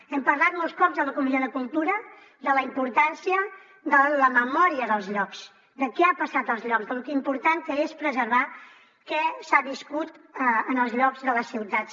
hem parlat molts cops a la comissió de cultura de la importància de la memòria dels llocs de què ha passat als llocs de lo important que és preservar què s’ha viscut en els llocs de les ciutats